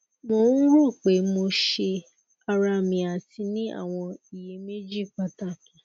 mo um ro pe mo se ara mi ati ni awọn iyemeji pataki